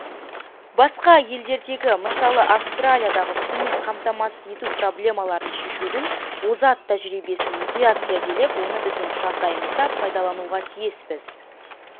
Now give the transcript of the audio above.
басқа елдердегі мысалы австралиядағы сумен қамтамасыз ету проблемаларын шешудің озат тәжірибесін мұқият зерделеп оны біздің жағдайымызда пайдалануға тиіспіз